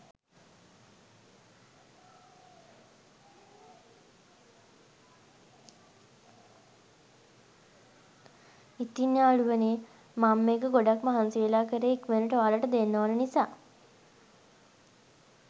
ඉතින් යාළුවනේ මම මේක ගොඩක් මහන්සි වෙලා කරේ ඉක්මනටම ඔයාලට දෙන්න ඔන නිසා.